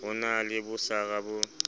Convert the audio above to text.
ho na le bosara bo